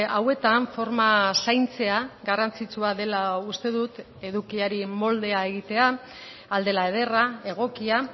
hauetan forma zaintzea garrantzitsua dela uste dut edukiari moldea egitea ahal dela ederra egokia